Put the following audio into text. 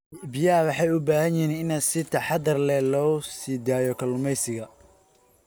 Biyaha waxay u baahan yihiin in si taxadar leh loogu sii daayo kalluumeysiga.